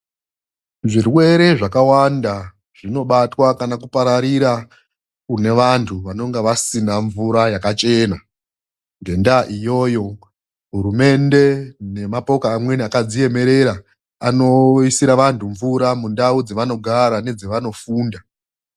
Zvirwere zvakawanda zvinobatwa kana kupararira kune vantu vanonga vasina mvura yakachena. Ngendaa iyoyo hurumende nemapoka amweni akadziemerera anoisira vantu mvura mundau dzavanogara nedzavanofunda.